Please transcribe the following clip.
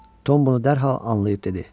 Tom bunu dərhal anlayıb dedi.